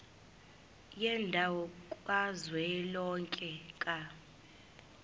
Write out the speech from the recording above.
yendawo kazwelonke ka